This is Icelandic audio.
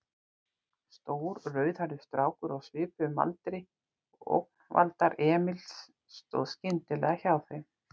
Stór, rauðhærður strákur á svipuðum aldri og ógnvaldar Emils stóð skyndilega hjá þeim.